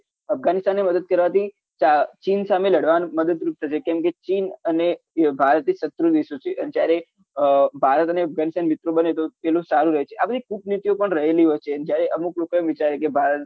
અફઘાનિસ્તાન ને મદદ કરવાથી ચીન સામે લડવા મદદરૂપ થશે કેમ કે ચીન અને ભારત શત્રુ દેશો છે અને જયારે ભારત અને અફઘાનિસ્તાન મિત્રો બને તો તેનો સારું છે આ બધી કુટનીત્તીયો પણ રહેલી હોય છે જયારે અમુક લોકો એવું વિચારે કે ભારત